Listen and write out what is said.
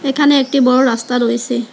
এখানে একটি বড়ো রাস্তা রয়েসে।